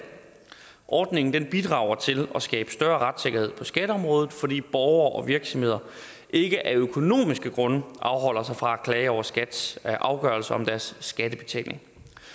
ordningen bidrager til at skabe større retssikkerhed på skatteområdet fordi borgere og virksomheder ikke af økonomiske grunde afholder sig fra at klage over skats afgørelser om deres skattebetaling